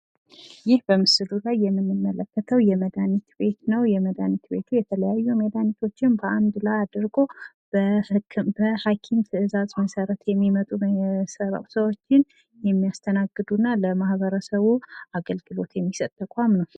ይህ በምስሉ ላይ የምንመለከተው የመድሃኒት ቤት ነው። የመድሃኒት ቤቱ የተለያዩ መድሃኒቶችን በአንድ ላይ አድርጎ በሀኪም ትእዛዝ መሰረት የሚመጡ ሰዎችን የሚያስተናግዱ እና ለማህበረስቡ አገልግሎት የሚሰጥ ተቋም ነው።